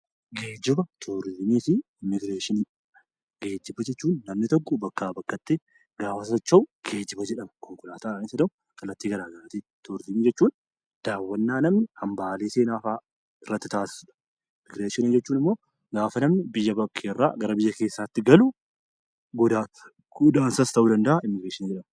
Geejjiba, Turiizimii fi Immigireeshinii Geejjiba jechuun namni tokko bakkaa bakkatti gaafa socho'u 'geejjiba' jedhama. konkolaataadhaanis haa ta'u kallattii gara garaatiin. Turiizimii jechuun daawwannaa namni hambaalee seenaa fa'a irratti taasisu dha. Immigireeshinii jechuun immoo gaafa namni biyya bakkee irraa gara biyya keessaatti galu, godaansas ta'uu danda'aa; 'immigireeshinii' jedhama.